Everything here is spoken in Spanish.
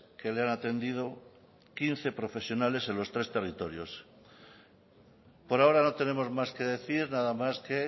que le han atendido quince profesionales en los tres territorios por ahora no tenemos más que decir nada más que